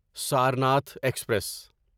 Sarnath express